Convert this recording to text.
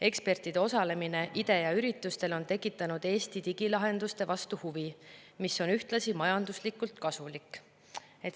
Ekspertide osalemine IDEA üritustel on tekitanud Eesti digilahenduste vastu huvi, mis on ühtlasi majanduslikult kasulik.